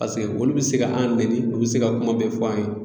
Paseke olu bɛ se ka an nɛni, u bɛ se ka kuma bɛɛ fɔ an ye.